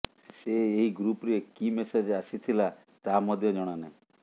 ସେ ଏହି ଗ୍ରୁପରେ କି ମେସେଜ ଆସିଥିଲା ତାହା ମଧ୍ୟ ଜଣାନାହିଁ